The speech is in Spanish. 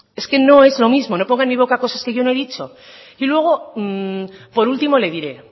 es que no es lo mismo no ponga en mi boca cosas que yo no he dicho por último le diré